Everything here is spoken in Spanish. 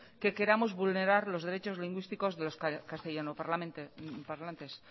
que queramos vulnerar los derechos lingüísticos de los castellano parlantes